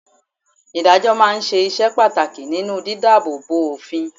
Ìdájọ́ máa ń ṣe iṣẹ́ pàtàkì nínú di dáàbò bo òfin.